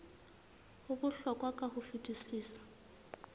ho bohlokwa ka ho fetisisa